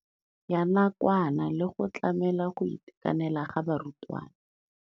Ya nakwana le go tlamela go itekanela ga barutwana.